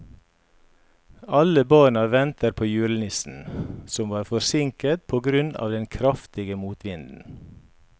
Alle barna ventet på julenissen, som var forsinket på grunn av den kraftige motvinden.